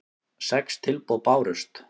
Sex tilboð bárust.